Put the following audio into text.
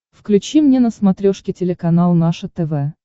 включи мне на смотрешке телеканал наше тв